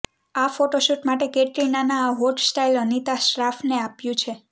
આ ફોટોશૂટ માટે કેટરીનાના આ હોટ સ્ટાઈલ અનીતા શ્રાફએ આપ્યું છે